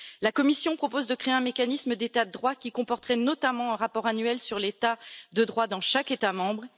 La Commission propose de créer un mécanisme d'état de droit qui comporterait, notamment, un rapport annuel sur l'état de droit dans chaque État membre.